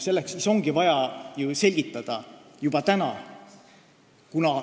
Seetõttu ongi vaja seda selgitada juba täna.